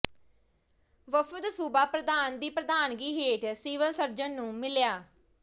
ਵਫ਼ਦ ਸੂਬਾ ਪ੍ਰਧਾਨ ਦੀ ਪ੍ਰਧਾਨਗੀ ਹੇਠ ਸਿਵਲ ਸਰਜਨ ਨੂੰ ਮਿਲਿਆ